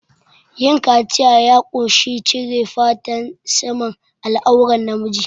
Yin kaciya ya ƙunshi cire fatan saman al'auran na miji